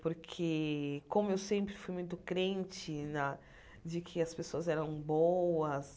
Porque, como eu sempre fui muito crente na de que as pessoas eram boas,